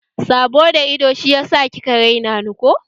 Sabo da ido shiyasa kika raina ni ko?